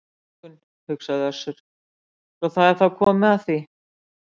Á morgun, hugsaði Össur, svo það er þá komið að því.